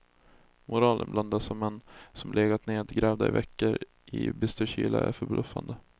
Moralen bland dessa män som legat nedgrävda i veckor i bister kyla är förbluffande.